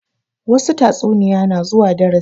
Wassu tatsuniya na zuwa darasi